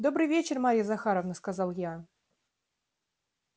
добрый вечер марья захаровна сказал я